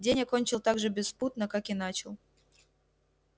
день я кончил так же беспутно как и начал